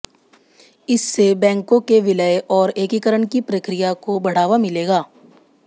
इससे बैंकों के विलय और एकीकरण की प्रक्रिया को बढ़ावा मिलेगा